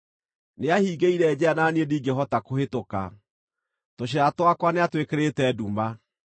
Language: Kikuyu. Nĩahingĩire njĩra na niĩ ndingĩhota kũhĩtũka; tũcĩra twakwa nĩatwĩkĩrĩte nduma.